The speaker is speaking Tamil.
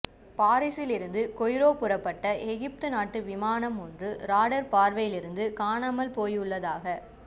பாரிஸிலிருந்து கெய்ரோ புறப்பட்ட எகிப்து நாட்டு விமானம் ஒன்று ராடர் பார்வையிலிருந்து காணாமல் போயுள்ளதாக